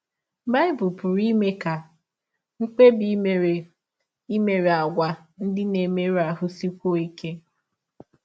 Bible pụrụ ime ka mkpebi i mere imerị àgwà ndị na - emerụ ahụ sikwụọ ike